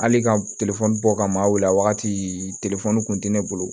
Hali ka bɔ ka ma weele wagati kun ti ne bolo